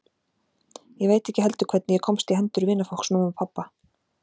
Ég veit ekki heldur hvernig ég komst í hendur vinafólks mömmu og pabba.